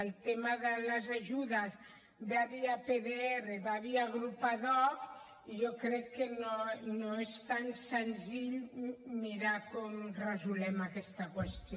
el tema de les ajudes va via pdr va via grup ad hoc i jo crec que no és tan senzill mirar com resolem aquesta qüestió